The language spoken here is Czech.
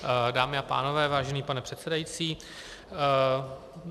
Dámy a pánové, vážený pane předsedající.